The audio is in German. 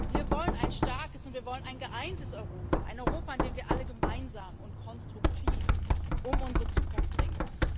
Wir wollen ein starkes und wir wollen ein geeintes Europa, ein Europa, in dem wir alle gemeinsam und konstruktiv um unsere Zukunft ringen.